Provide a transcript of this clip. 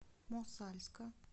мосальска